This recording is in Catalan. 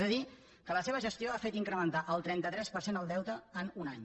és a dir que la seva gestió ha fet incrementar el trenta tres per cent el deute en un any